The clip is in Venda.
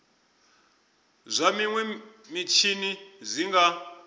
zwa minwe mitshini zwi nga